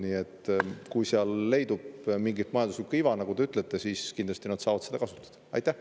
Nii et kui seal leidub mingit majanduslikku iva, nagu te ütlesite, siis nad saavad seda kindlasti kasutada.